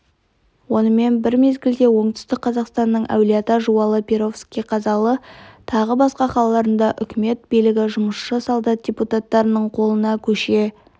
онымен бір мезгілде оңтүстік қазақстанның әулиеата жуалы перовский қазалы тағы басқа қалаларында үкімет билігі жұмысшы-солдат депутаттарының қолына көше